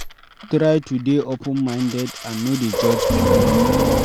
Try to dey open minded and no dey judge pipo